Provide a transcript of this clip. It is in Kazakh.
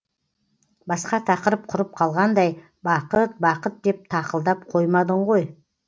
басқа тақырып құрып қалғандай бақыт бақыт деп тақылдап қоймадың ғой